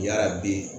Yarabi